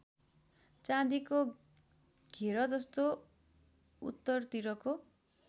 चाँदीको घेरजस्तो उत्तरतिरको